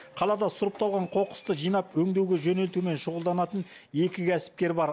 қалада сұрыпталған қоқысты жинап өңдеуге жөнелтумен шұғылданатын екі кәсіпкер бар